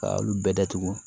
Ka olu bɛɛ datugu